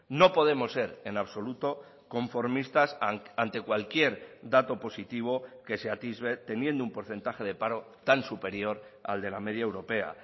no podemos ser en absoluto conformistas ante cualquier dato positivo que se atisbe teniendo un porcentaje de paro tan superior al de la media europea